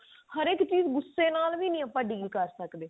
ਹਰ ਇੱਕ ਚੀਜ ਆਪਾਂ ਗੁਸੇ ਨਾਲ ਵੀ deal ਨਹੀਂ ਕਰ ਸਕਦੇ